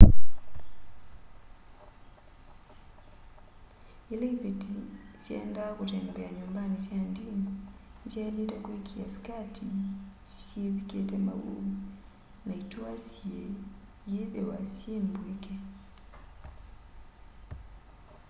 yila ĩvetĩ syaenda kutembea nyumbani sya ndini nĩsyailite kwĩkĩa sĩkatĩ syĩ vyĩkĩte maũ na ĩtũa syĩ yĩthĩwa syĩ mbwĩke